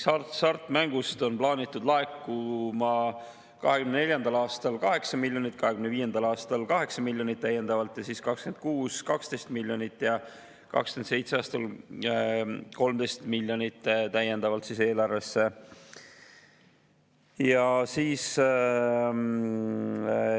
Hasartmängu on 2024. aastal plaanitud eelarvesse laekuma 8 miljonit, 2025. aastal täiendavalt 8 miljonit, 2026. aastal 12 miljonit ja 2027. aastal täiendavalt 13 miljonit.